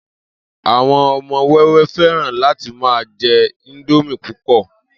Àwo̩n o̩mo̩ wé̩wé̩ fé̩ràn láti máa je̩ íńdómì púpò̩